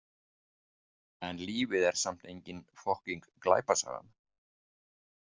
En lífið er samt engin fokkíng glæpasaga.